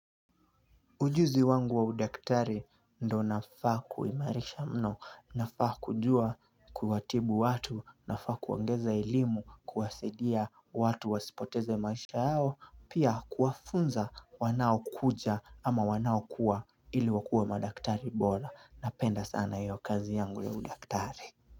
Ujuzi wangu wa udaktari ndo nafaa kuimarisha mno nafaa kujua kuwatibu watu nafaa kuongeza elimu kuwasidia watu wasipoteze maisha yao pia kuwafunza wanao kuja ama wanao kuwa ili wakue madaktari bora napenda sana yo kazi yangu ya udaktari.